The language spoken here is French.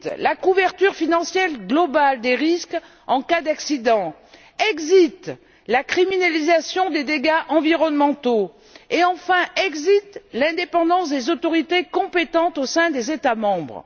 Exit la couverture financière globale des risques en cas d'accident. Exit la criminalisation des dégâts environnementaux et, enfin, exit l'indépendance des autorités compétentes au sein des États membres.